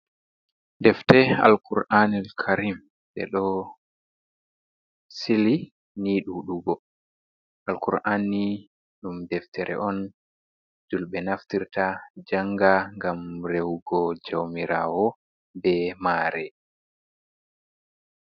Deftee alkur'anil karim, ɗe ɗo sili ni ɗuɗugo. Alkur'an ni, ɗum deftere on julɓe naftirta janga ngam rehugo jawmirawo be maare.